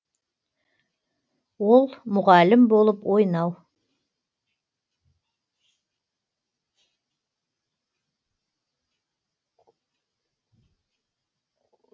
ол мұғалім болып ойнау